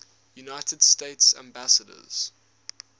united states ambassadors